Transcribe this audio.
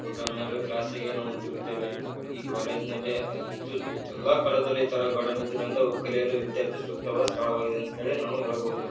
ಊಟ ಮಾಡಿ ಕ್ಲಾಸ್ ಗು ತೀರಗತ್ತಿವಿ ಈ ಕಾಲೇಜ್ ನಲ್ಲೆ ಅತ್ಯುತ್ತ ಎಲ್ಲಾ ಕಾಲೇಜ್ ಅಲ್ಲಿ ಇತರ ಗಾರ್ಡನ್ ಇದ್ದು ಕೊಂಡು ಕಲಿಯಲು ವಿದ್ಯಾರ್ಥಿ ಸೂಕ್ತವ ಸ್ಥಳವಾಗಿದೆ ಅಂತ ಹೇಳಿ ನಾವು ಹೇಳಬಹುದು.